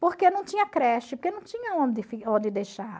Porque não tinha creche, porque não tinha onde onde deixar.